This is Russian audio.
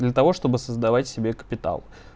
для того чтобы создавать себе капитал